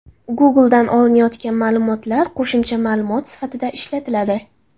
Google’dan olinayotgan ma’lumotlar qo‘shimcha ma’lumot sifatida ishlatiladi.